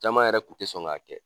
Caman yɛrɛ kun tɛ sɔn k'a kɛ.